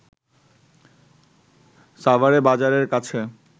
সাভারে বাজারের কাছে